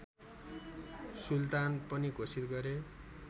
सुल्तान पनि घोषित गरे